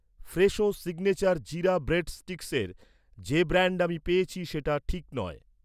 Fresho signature jeera bread স্টিক্সের, যে brand আমি পেয়েছি, সেটা ঠিক নয়